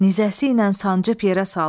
Nizəsi ilə sancıb yerə saldı.